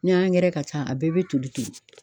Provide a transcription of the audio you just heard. Ni angɛrɛ ka ca a bɛɛ bɛ toli toli.